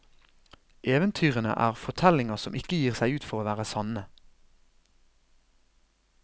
Eventyrene er fortellinger som ikke gir seg ut for å være sanne.